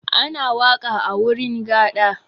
Ana waƙa a wurin gaɗa.